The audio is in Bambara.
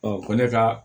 ko ne ka